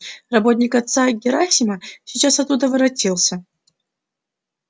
работник отца герасима сейчас оттуда воротился